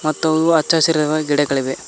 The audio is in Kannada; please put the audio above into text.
ಮತ್ತು ಹಚ್ಚ ಹಸಿರು ಇರುವ ಗಿಡಗಳಿವೆ.